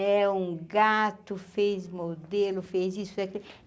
É um gato fez modelo, fez isso fez aquilo e.